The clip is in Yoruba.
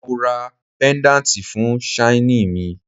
Mo ra pedanti fun shaini mi